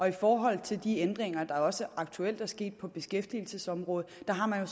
i forhold til de ændringer der også aktuelt er sket på beskæftigelsesområdet har man jo